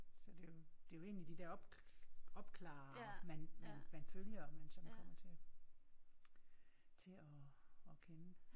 Så det jo det jo egentlig de der op opklarerere man man man følger og man sådan kommer til til at at kende